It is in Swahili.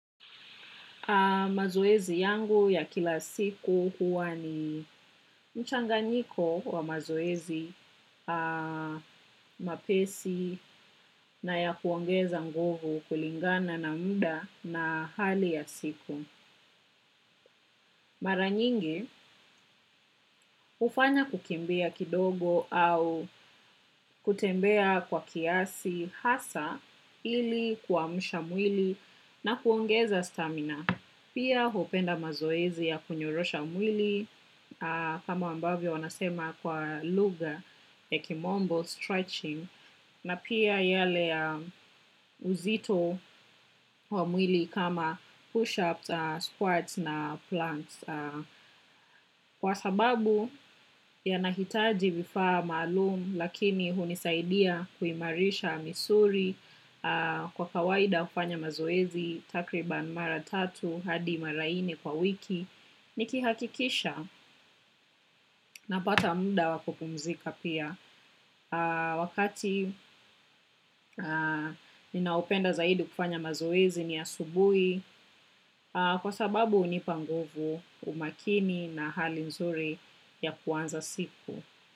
Mazoezi yangu ya kila siku huwa ni mchanganyiko wa mazoezi mapesi. Na ya kuongeza nguvu kulingana na muda na hali ya siku. Mara nyingi hufanya kukimbia kidogo au kutembea kwa kiasi hasa ili kuamsha mwili na kuongeza stamina. Pia hupenda mazoezi ya kunyorosha mwili kama ambavyo wanasema kwa lugha ya kimombo stretching na pia yale uzito kwa mwili kama push-ups, squats na plants. Kwa sababu yanahitaji vifaa maalum lakini hunisaidia kuimarisha misuli kwa kawaida hufanya mazoezi takriban mara tatu hadi mara nne kwa wiki. Nikihakikisha napata muda wa kupumzika pia. Wakati ninaopenda zaidi kufanya mazoezi ni asubuhi kwa sababu hunipa nguvu umakini na hali nzuri ya kuanza siku.